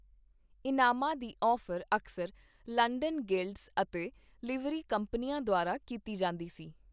ਇਨਾਮਾਂ ਦੀ ਔਫ਼ਰ ਅਕਸਰ London guilds ਅਤੇ ਲਿਵਰੀ ਕੰਪਨੀਆਂ ਦੁਆਰਾ ਕੀਤੀ ਜਾਂਦੀ ਸੀ।